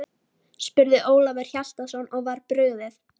spurði Ólafur Hjaltason og var brugðið.